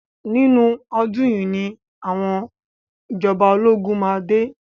Nínú ọdún yìí ni àwọn ìjọba ológun máa dé.